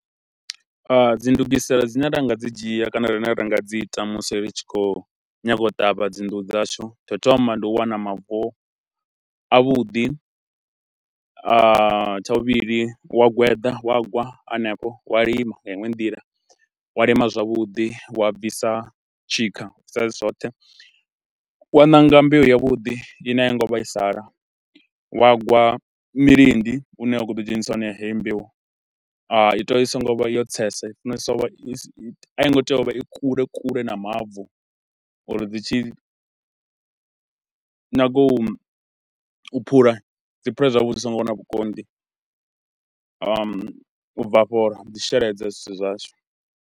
Dzi ndugiselo dzine nda nga dzi dzhia kana rine ra nga dzi ita musi ri tshi khou nyanga u ṱavha dzi nḓuhu dzashu, tsha u thoma ndi u wana mavu avhuḓi, tsha vhuvhili wa gweda wa gwa hanefho wa lima nga iṅwe nḓila wa lima zwavhuḓi wa a bvisa tshikha saizwi zwoṱhe, wa ṋanga mbeu yavhuḓi i ne a yo ngo vhaisa la, wa gwa milindi une wa khou ḓi dzhenisa hone ya heyo mbeu. I tea u vha i songo vha yo tsesa, i funesa u vha, i a i ngo tea u vha i kule kule na mavu uri dzi tshi nyaga u u phula dzi phule zwavhuḓi zwi songo vha na vhukonḓi, u bva afho dzi sheledze zwithu washu.